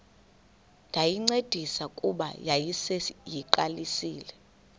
ndayincedisa kuba yayiseyiqalisile